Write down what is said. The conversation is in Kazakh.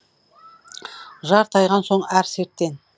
жар тайған соң әр серттен